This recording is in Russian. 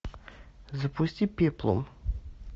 запусти пеплум